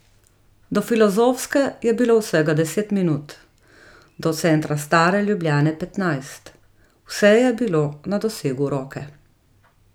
Do filozofske je bilo vsega deset minut, do centra stare Ljubljane petnajst, vse je bilo na dosegu roke.